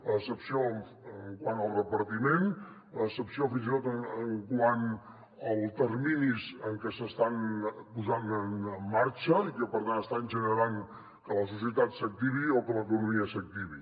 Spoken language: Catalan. la decepció quant al repartiment la decepció fins i tot quant als terminis en que s’estan posant en marxa i que per tant estan generant que la societat s’activi o que l’economia s’activi